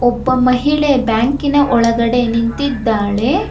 ಒಬ್ಬ ಮಹಿಳೆ ಬ್ಯಾಂಕಿನ ಒಳಗಡೆ ನಿಂತಿದ್ದಾಳೆ.